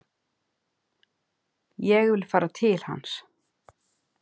Ég vil fara til hans.